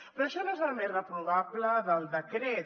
però això no és el més reprovable del decret